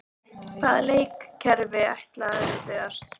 Hvaða leikkerfi ætlarðu að spila?